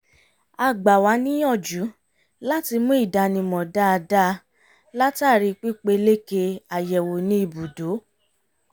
a gbà wá níyànjú láti mú ìdánimọ̀ dáadáa látàrí pípeléke àyẹ̀wò ní ìbùdó